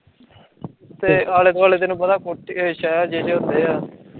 ਤੇ ਆਲੇ ਦੁਆਲੇ ਤੈਂਨੂੰ ਪਤਾ, ਜੇ ਜੇ ਹੁੰਦੇ ਆ